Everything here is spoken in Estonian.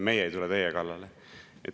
Meie ei tule teie kallale.